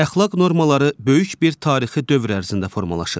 Əxlaq normaları böyük bir tarixi dövr ərzində formalaşır.